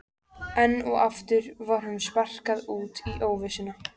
Enn og aftur var honum sparkað út í óvissuna.